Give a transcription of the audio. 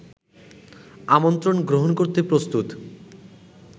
আমন্ত্রণ গ্রহণ করতে প্রস্তুত